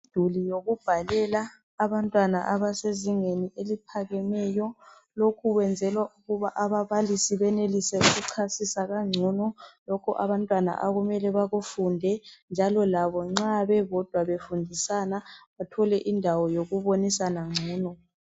Umduli wokubhalela abantwana abasezingeni eliphakemeyo. Lokhu kwenzelwa ukuba ababalisi benelise ukuchasisa kangcono lokhu abantwana akumele bakufunde njalo labo nxa bebodwa befundisana bathole indawo yokubonisana ngcono.